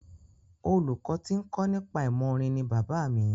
Olùkọ tí ń kọ́ nípa ìmọ̀ orin ni bàbá mi.